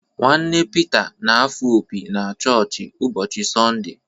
Nwanne Pita na-afụ opi na chọọchị ụbọchị Sọnde.